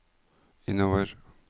innover